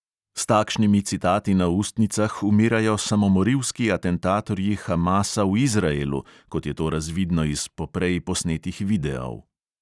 S takšnimi citati na ustnicah umirajo samomorilski atentatorji hamasa v izraelu, kot je to razvidno iz poprej posnetih videov.